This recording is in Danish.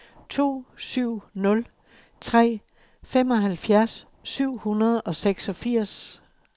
to syv nul tre femoghalvfjerds syv hundrede og seksogfirs